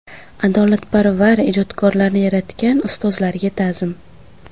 Adolatparvar ijodkorlarni yaratgan ustozlarga ta’zim.